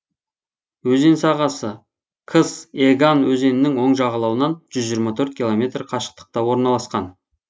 өзен сағасы кыс еган өзенінің оң жағалауынан жүз жиырма төрт километр қашықтықта орналасқан